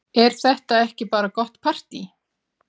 Er þetta ekki bara gott partý?